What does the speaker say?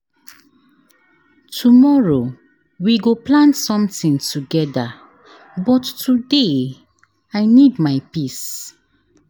Tomorrow, we go plan sometin togeda but today, I need my peace.